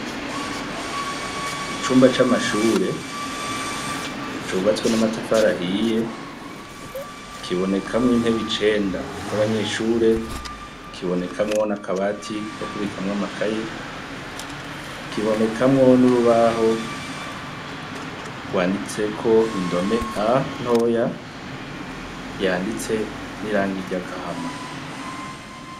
Icumba c'amashure cubatswe n'amatafarahiye kibonekamwo intebe icenda z'abanyeshure kibonekamwo nakabati ko kubikamwo amakaye kibonekamwo n'urubaho rwanditseko indome a ntoya yanditse n'irang irya agahama.